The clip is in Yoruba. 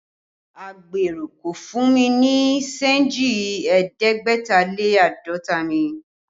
Agbèrò kò fún mi ní senji ẹ̀ẹ́dẹ́gbẹ̀ta lé àádọ́ta mi